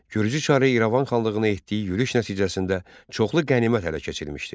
Gürcü çarı İrəvan xanlığına etdiyi yürüş nəticəsində çoxlu qənimət ələ keçirilmişdi.